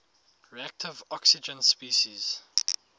reactive oxygen species